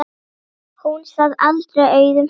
Hún sat aldrei auðum höndum.